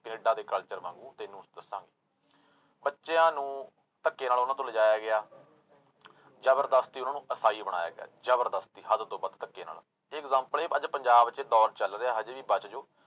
Canada ਦੇ culture ਵਾਂਗੂ ਤੈਨੂੰ ਦੱਸਾਂਗੇ ਬੱਚਿਆਂ ਨੂੰ ਧੱਕੇ ਨਾਲ ਉਹਨਾਂ ਤੋਂ ਲਿਜਾਇਆ ਗਿਆ ਜ਼ਬਰਦਸਤੀ ਉਹਨਾਂ ਨੂੰ ਇਸਾਈ ਬਣਾਇਆ ਗਿਆ, ਜ਼ਬਰਦਸਤੀ ਹੱਦ ਤੋਂ ਵੱਧ ਧੱਕੇ ਨਾਲ, ਇਹ example ਇਹ ਅੱਜ ਪੰਜਾਬ ਚ ਦੌਰ ਚੱਲ ਰਿਹਾ ਹਜੇ ਵੀ ਬਚ ਜਾਓ